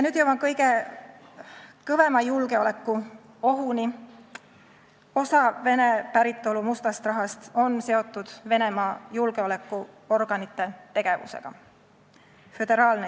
Nüüd jõuan kõige kõvema julgeolekuohuni: osa Vene päritolu mustast rahast on seotud Venemaa julgeolekuorganite tegevusega .